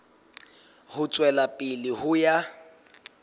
ho tswela pele ho ya